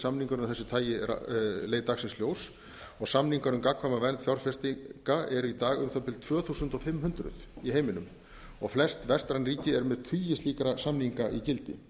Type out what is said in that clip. samningurinn af þessu tagi leit dagsins ljós samningur um gagnkvæma vernd fjárfestinga eru í dag um það bil tvö þúsund fimm hundruð í heiminum flest vestræn ríki eru með tugi slíkra samninga í gildi